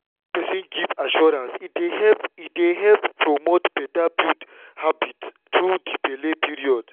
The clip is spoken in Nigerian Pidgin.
wen person give assurance e dey help e dey help promote better habits all through di belle period.